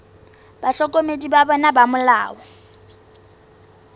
bahlokomedi ba bona ba molao